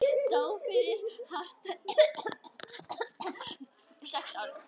Dó fyrir hartnær sex árum.